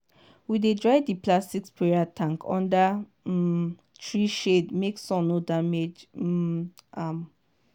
we dey dry di plastic sprayer tank under um tree shade make sun no damage um am.